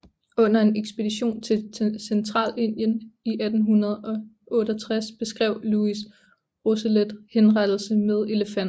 Under en ekspedition til Centralindien i 1868 beskrev Louis Rousselet henrettelse med elefant